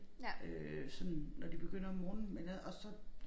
Øh sådan når de begynder om morgenen men øh også så